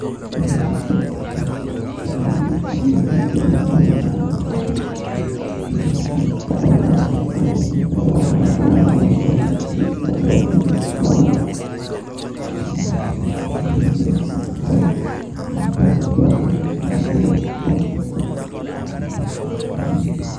Ore entoki nalotu indamunot naa wore ena naa enkig'uran opa ena niking'uran um kira kutitik ashu eng'em naas opa ng'era kutitik naa kias opa enkara ake fun.